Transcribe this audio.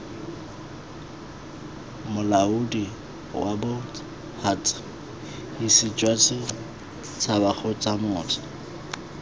molaodi wabots huts hisijwasets habakgotsamots